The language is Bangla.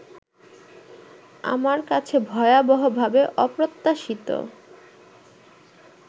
আমার কাছে ভয়াবহভাবে অপ্রত্যাশিত